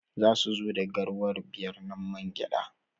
Za su zo da garwa biyar na man gyada.